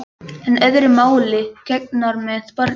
En öðru máli gegnir með barnið.